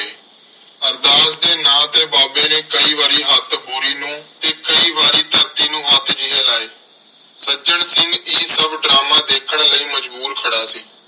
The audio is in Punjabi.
ਅਰਦਾਸ ਦੇ ਨਾਂ ਤੇ ਬਾਬੇ ਨੇ ਕਈ ਵਾਰੀ ਹੱਥ ਬੋਰੀ ਨੂੰ ਤੇ ਕਈ ਵਾਰੀ ਧਰਤੀ ਨੂੰ ਹੱਥ ਜਿਹੇ ਲਾਏ। ਸੱਜਣ ਸਿੰਘ ਇਹ ਸਭ ਡਰਾਮਾ ਦੇਖਣ ਲਈ ਮਜਬੂਰ ਖੜ੍ਹਾ ਸੀ।